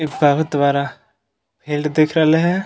इ बहुत वरा फील्ड दिख रहले है |